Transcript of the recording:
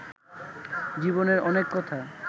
জীবনের অনেক কথা